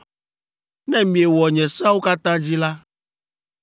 “ ‘Ne miewɔ nye seawo katã dzi la,